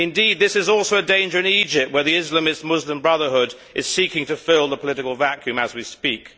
Indeed this is also a danger in Egypt, where the Islamist Muslim Brotherhood is seeking to fill the political vacuum as we speak.